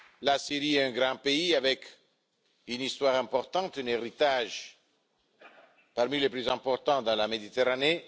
La Syrie est un grand pays avec une histoire importante et un héritage parmi les plus importants de la Méditerranée